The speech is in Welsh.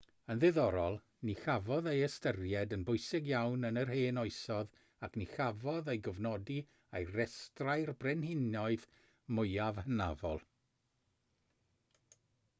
yn ddiddorol ni chafodd ei ystyried yn bwysig iawn yn yr hen oesoedd ac ni chafodd ei gofnodi ar restrau'r brenhinoedd mwyaf hynafol